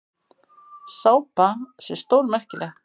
Sápa sé stórmerkileg.